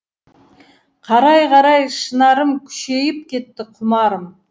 қарай қарай шынарым күшейіп кетті құмарым